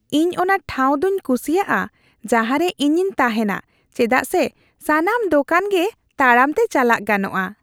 ᱤᱧ ᱚᱱᱟ ᱴᱷᱟᱶ ᱫᱚᱧ ᱠᱩᱥᱤᱭᱟᱜᱼᱟ ᱡᱟᱦᱟᱸᱨᱮ ᱤᱧᱤᱧ ᱛᱟᱦᱮᱱᱟ ᱪᱮᱫᱟᱜ ᱥᱮ ᱥᱟᱱᱟᱢ ᱫᱳᱠᱟᱱ ᱜᱮ ᱛᱟᱲᱟᱢ ᱛᱮ ᱪᱟᱞᱟᱜ ᱜᱟᱱᱚᱜᱼᱟ ᱾